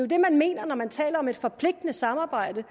det man mener når man taler om et forpligtende samarbejde